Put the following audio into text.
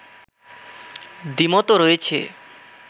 দ্বিমতও রয়েছে